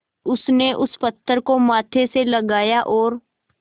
उसने उस पत्थर को माथे से लगाया और